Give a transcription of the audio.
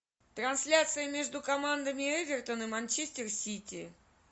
трансляция между командами эвертон и манчестер сити